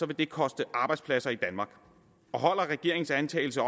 det koste arbejdspladser i danmark og holder regeringens antagelse